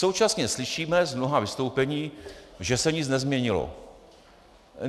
Současně slyšíme z mnoha vystoupení, že se nic nezměnilo.